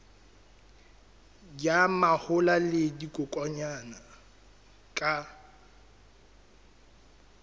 ya mahola le dikokwanyana ka